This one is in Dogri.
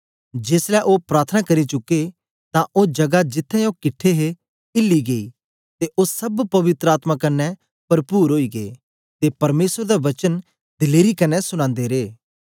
जेसलै ओ प्रार्थना करी चुके तां ओ जगा जित्त्थें ओ किट्ठे हे हिली गेई ते ओ सब पवित्र आत्मा कन्ने परपुर ओई गै ते परमेसर दा वचन दलेरी कन्ने सुनांदे रे